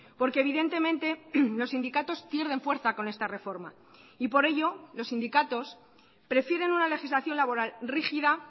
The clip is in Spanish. porque evidentemente los sindicatos pierden fuerza con esta reforma y por ello los sindicatos prefieren una legislación laboral rígida